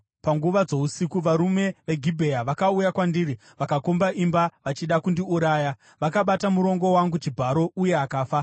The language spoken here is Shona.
Panguva dzousiku, varume veGibhea vakauya kwandiri vakakomba imba vachida kundiuraya. Vakabata murongo wangu chibharo, uye akafa.